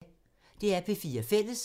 DR P4 Fælles